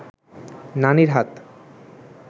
নানির হাত